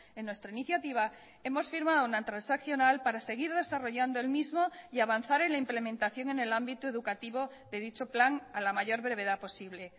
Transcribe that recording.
en nuestra iniciativa hemos firmado una transaccional para seguir desarrollando el mismo y avanzar en la implementación en el ámbito educativo de dicho plan a la mayor brevedad posible